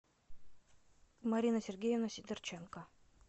марина сергеевна сидорченко